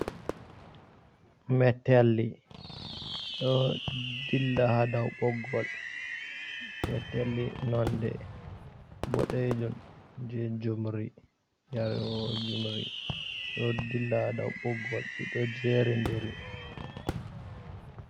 Metelli ɗo dilla ha dow ɓoggol, metelli nonde boɗejum je jumri yarewo jumri ɗo dillah dow ɓoggol ɗiɗo jeri ndiri.